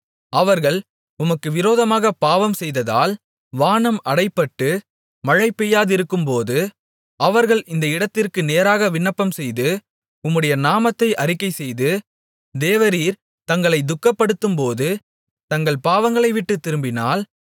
அவர்கள் உமக்கு விரோதமாகப் பாவம் செய்ததால் வானம் அடைபட்டு மழை பெய்யாதிருக்கும்போது அவர்கள் இந்த இடத்திற்கு நேராக விண்ணப்பம் செய்து உம்முடைய நாமத்தை அறிக்கைசெய்து தேவரீர் தங்களைத் துக்கப்படுத்தும்போது தங்கள் பாவங்களை விட்டுத் திரும்பினால்